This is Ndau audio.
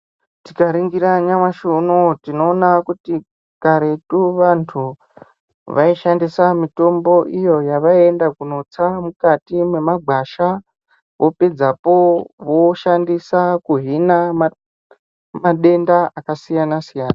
Tikaningira nyamashi unonuyu tinoona kuti karetu vantu vaishandisa mitombo iyo yavaienda kunotsa mukati memagwasha vopedzapo voshandisa kuhina madenda akasiyana siyana.